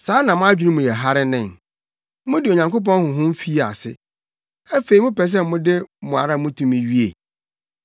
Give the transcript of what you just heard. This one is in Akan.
Saa na mo adwene mu yɛ hare nen? Mode Onyankopɔn Honhom fii ase; afei mopɛ sɛ mode mo ara mo tumi wie?